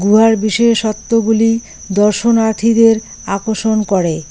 গুহার বিশেষত্বগুলি দর্শনার্থীদের আকর্ষণ করে।